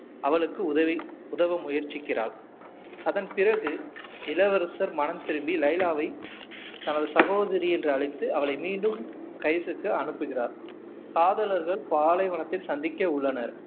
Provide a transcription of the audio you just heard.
அவளுக்கு உதவி உதவ முயற்சிக்கிறாள் அதன் பிறகு இளவரசர் மனம் திருந்தி லைலாவை தனது சகோதரி என்று அழைத்து அவளை மீண்டும் கைஸ்க்கு அனுப்புகிறார் காதலர்கள் பாலைவனத்தில் சந்திக்க உள்ளனர்